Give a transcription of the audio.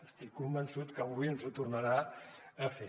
estic convençut que avui ens ho tornarà a fer